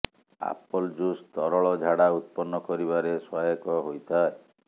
apple juice ତରଳ ଝାଡ଼ା ଉତ୍ପନ୍ନ କରିବାରେ ସହାୟକ ହୋଇଥାଏ